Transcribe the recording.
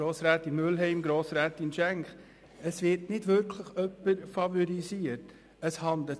Grossrätin Mühlheim, Grossrätin Schenk: Es ist nicht so, dass jemand favorisiert wird.